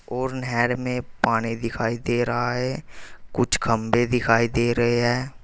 और नहेर में पानी दिखाई दे रहा है कुछ खंबे दिखाई दे रहे हैं।